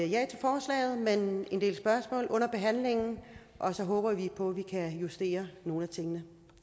ja til forslaget men en del spørgsmål under behandlingen og så håber vi på at vi kan justere nogle af tingene